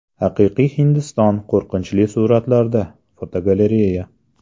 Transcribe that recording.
Haqiqiy Hindiston qo‘rqinchli suratlarda (fotogalereya).